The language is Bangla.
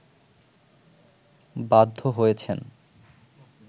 বাধ্য হয়েছেন